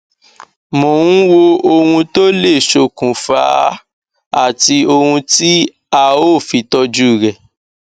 mò ń wo ohun tó lè ṣokùnfa á àti ohun tí a ó fi tọjú rẹ